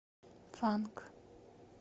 фанк